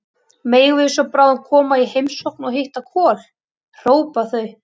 Megum við svo bráðum koma í heimsókn og hitta Kol, hrópa þau.